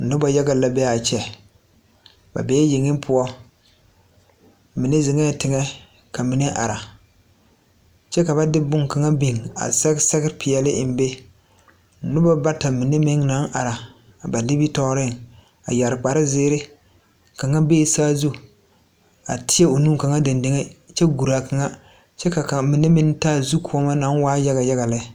Nobɔ yaga la bee aa kyɛ ba bee yeŋe poɔ mine zeŋɛɛ teŋɛ ka mine ara kyɛ ka ba de bonkaŋa biŋ a sɛge sɛge peɛɛli eŋ be nobɔ bata mine meŋ naŋ are ba nimitooreŋ a yɛre kparezeere kaŋa bee saazu a tēɛ o nu kaŋa deŋdeŋeŋ guraa kaŋa kyɛ ka mine meŋ taa zukɔɔmɔ naŋ waa yaga yaga lɛ.